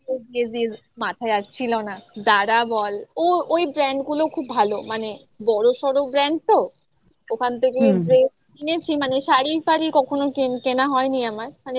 yes yes yes মাথায় আর ছিল না Zara বল ও ওই brand গুলো খুব ভালো মানে বড়সড় brand তো ওখান থেকে কিনেছি মানে শাড়ি ফারি কখনো কেনা হয়নি আমার